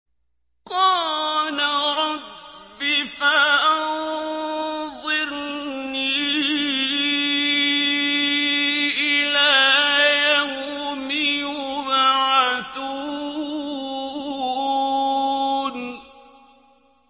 قَالَ رَبِّ فَأَنظِرْنِي إِلَىٰ يَوْمِ يُبْعَثُونَ